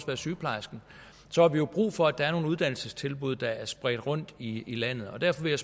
være sygeplejerskerne så har vi jo brug for at der er nogle uddannelsestilbud der er spredt rundt i landet og derfor vil